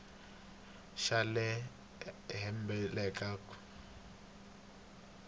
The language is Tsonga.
xa le henhla eka khompyutara